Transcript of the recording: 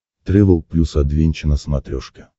трэвел плюс адвенча на смотрешке